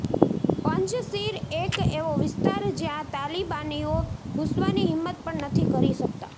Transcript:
પંજશીર એક એવો વિસ્તાર જ્યાં તાલિબાનીઓ ઘૂસવાની હિંમત પણ નથી કરતા